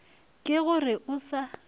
ke go re o sa